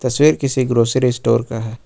किसी grocery store का है।